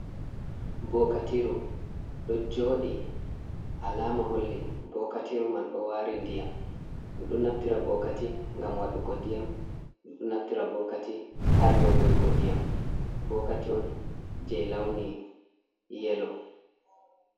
Ɓokatiru do jodi alama holli bokatiru man ɗo wari ndiyam ɗo naftira bokati ngam wadugo ndiyam ɗo naftira bokati ha yogogo ndiyam bokati on je lawni yelo.